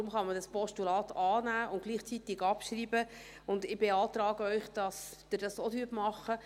Deshalb kann man dieses Postulat annehmen und gleichzeitig abschreiben, und ich beantrage Ihnen, dass Sie das auch tun.